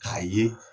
K'a ye